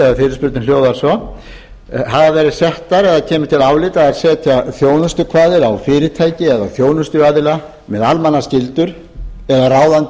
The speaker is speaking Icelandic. neytendamál sem hljóðar svo hafa verið settar eða kemur til álita að setja þjónustukvaðir á fyrirtæki eða þjónustuaðila með almannaskyldur eða ráðandi